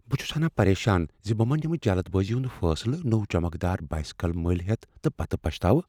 بہٕ چھس ہناہ پریشان ز بہٕ ما نمہ جلد بٲزی ہند فیصلہ نوٚو چمکدار بایسیکل ملۍ ہیتھ تہ پتہ پچھتاوٕ۔